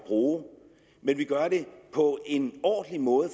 bruge men vi gør det på en ordentlig måde